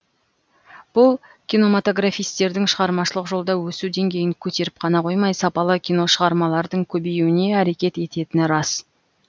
бұл киноматографистердің шығармашылық жолда өсу деңгейін көтеріп қана қоймай сапалы киношығармалардың көбеюіне әрекет ететіні рас